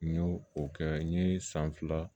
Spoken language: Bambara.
N y'o o kɛ n ye san fila